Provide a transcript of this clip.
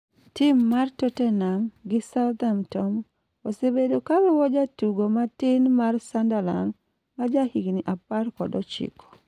tim mar totenam gi southamtom osebedo ka luwo jatugo ma tim mar sunderlan ma ja higni apar kod ochiko